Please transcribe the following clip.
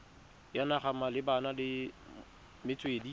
ya naga malebana le metswedi